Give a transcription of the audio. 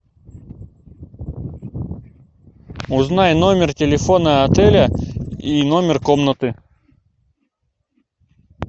узнай номер телефона отеля и номер комнаты